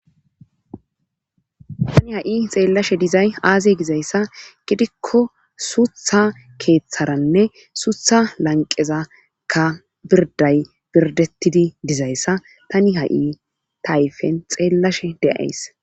tani ha7i xeellashe dizay aaze gizayssa gidikko suutha keeththaranne suutha lanqezakka pirday pirdettidi dizayssa tani ha7i tayfen xeellashe deays